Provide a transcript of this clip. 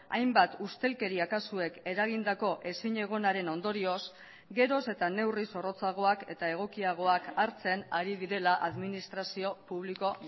hainbat ustelkeria kasuek eragindako ezinegonaren ondorioz geroz eta neurri zorrotzagoak eta egokiagoak hartzen ari direla administrazio publiko